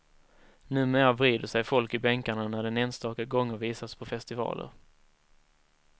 Numera vrider sig folk i bänkarna när den enstaka gånger visas på festivaler.